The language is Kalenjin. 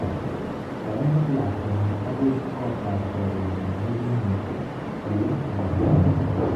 Koimut lakwenyi agoi kot ab chorwenyi negimeche ole ma loo